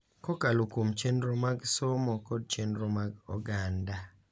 Kokalo kuom chenro mag somo kod chenro mag oganda.